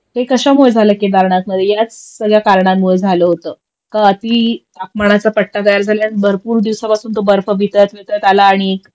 ते कशामुळे झालं केदारनाथमध्ये याच सगळ्या कारणांमुळे झालं होत कारण अति तापमानाच पट्टा गार झाला भरपूर दिवसापासून तो बर्फ वितळत वितळत आला आणि